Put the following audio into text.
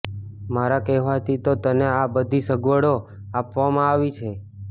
મારા કહેવાથી તો તને આ બધી સગવડો આપવામાં આવી છે